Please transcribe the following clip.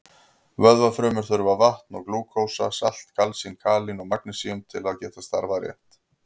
Vöðvafrumur þurfa vatn, glúkósa, salt, kalsín, kalín og magnesín til að geta starfað rétt.